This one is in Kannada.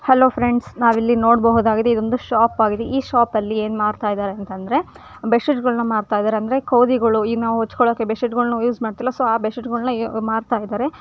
ಹಲೋ ಫ್ರೆಂಡ್ಸ್ ನಾವೇನ್ ಇಲ್ಲಿ ನೋಡಬಹುದು ಇಲ್ಲಿ ಇದು ಒಂದು ಶಾಪ್ ಆಗಿದೆ ಈ ಶಾಪ್ ದಲ್ಲಿ ಏನ್ ಮಾಡ್ತ ಇಡ್ಯಾಂತ್ರ್ ಆ ಬೆಡ್ ಶೀಟನ್ನು ಮಾಡ್ತಾ ಇದ್ದಾರೆ ಬೆಡ್ಶೀಟ್ ಗಳು ಮಾಡ್ತಾ ಇದ್ದಾರೆ ನಾವೇನ್ ಕೂದಿಗಳು ಅಂತೀವಿ ಇಗ್ನೋ ಹಂಚ್್ಕೊ್ಕೊಳಕ್ಕೆ ಬೆಶ್ಶೂ ಯೂಸ್ ಮಾಡ್ತೀವಲ್ಲ ಆ ಬ ಬೆಡ್ ಶೀಟ್ ಗಳು ಇವರು ಮಾರ್ತಾ ಇದ್ದಾರೆ.